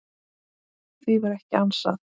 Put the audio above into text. Því var ekki ansað.